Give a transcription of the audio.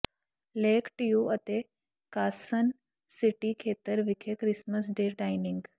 lake Tahoe ਅਤੇ Carson City ਖੇਤਰ ਵਿਖੇ ਕ੍ਰਿਸਮਸ ਡੇ ਡਾਇਨਿੰਗ